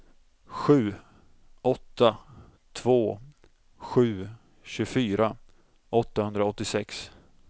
sju åtta två sju tjugofyra åttahundraåttiosex